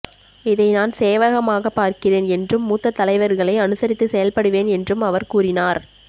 இதை நான் சேவகமாக பார்கிறேன் என்றும் மூத்த தலைவர்களை அனுசரித்து செயல்படுவேன் என்றும் அவர் கூறினார்